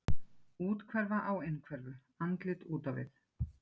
Úthverfa á innhverfu, andlit út á við.